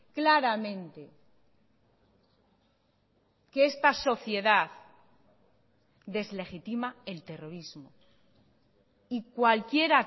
claramente que esta sociedad deslegitima el terrorismo y cualquier